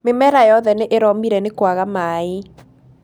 mĩmera yothe nĩ ĩromĩre nĩ kwaga maaĩ